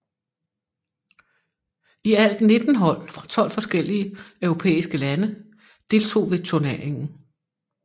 I alt 19 hold fra 12 forskellige europæiske lande deltog ved turneringen